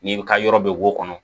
N'i bɛ ka yɔrɔ bɛ wo kɔnɔ